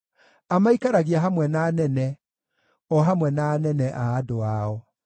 amaikaragia hamwe na anene, o hamwe na anene a andũ ao.